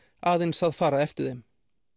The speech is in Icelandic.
aðeins að fara eftir þeim